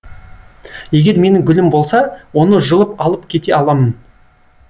егер менің гүлім болса оны жұлып алып кете аламын